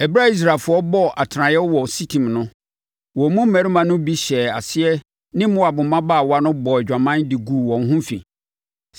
Ɛberɛ a Israelfoɔ bɔɔ atenaseɛ wɔ Sitim no, wɔn mu mmarima no bi hyɛɛ aseɛ ne Moab mmabaawa no bɔɔ adwaman de guu wɔn ho fi.